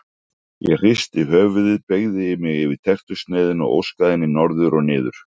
Ég hristi höfuðið beygði mig yfir tertusneiðina og óskaði henni norður og niður.